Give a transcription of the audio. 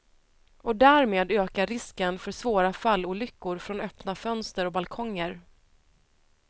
Och därmed ökar risken för svåra fallolyckor från öppna fönster och balkonger.